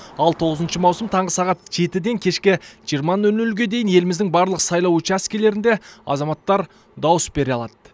ал тоғызыншы маусым таңғы сағат таңғы жетіден кешкі жиырма нөл нөлге дейін еліміздің барлық сайлау учаскілерінде азаматтар дауыс бере алады